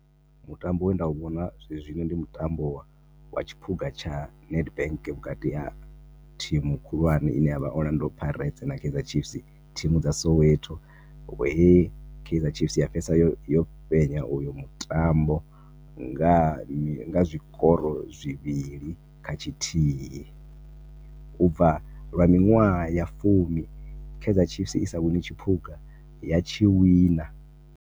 Mutambo we nda u vhona zwezwino ndi mutambo wa tshiphuga tsha NEDBANK vhukati ha thimu khulwane i ne ya vha Orlando Pirates na Kaizer Chiefs. Thimu dza Soweto, he Kaizer Chiefs ya fhedzisela yo fhenya u yo mutambo nga zwikoro zwivhili kha tshithihi. U bva lwa miṅwaha ya fumi Kaizer Chiefs i sa wini tshiphuga, ya tshi wina.